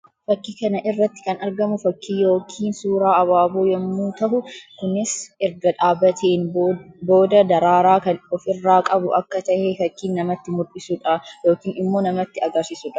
Fakkii kana irratti kan argamu fakkii yookiin suuraa abaaboo yammuu tahu; kunis erga dhaabbateen booda daraaraa kan of irraa qabu akka tahe fakkii namatti mullisuu dha yookiin immoo namatti agarsiisuu dha.